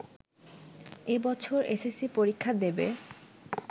এবছর এসএসসি পরীক্ষা দেবে